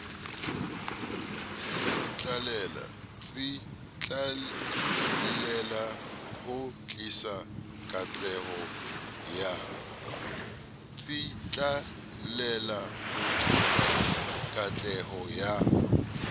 tsitlallela ho tlisa katleho ya